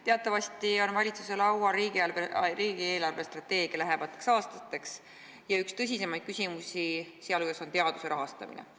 Teatavasti on valitsuse laual riigi eelarvestrateegia lähemateks aastateks ja üks tõsisemaid küsimusi sealhulgas on teaduse rahastamine.